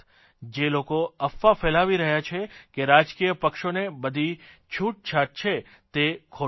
જે લોકો અફવા ફેલાવી રહ્યા છે કે રાજકીય પક્ષોને બધી છૂટછાટ છે તે ખોટી છે